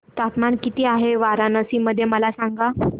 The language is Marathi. तापमान किती आहे वाराणसी मध्ये मला सांगा